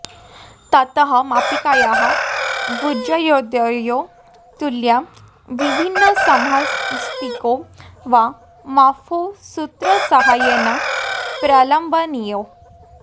ततः मापिकायाः भुजयोर्द्वयोः तुल्यो विभिन्नसंहतिकौ वा माप्कौ सूत्रसहाय्येन प्रलम्बनीयौ